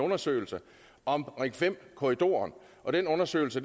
undersøgelse om ring fem korridoren den undersøgelse